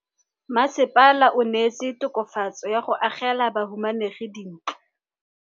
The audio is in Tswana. Mmasepala o neetse tokafatsô ka go agela bahumanegi dintlo.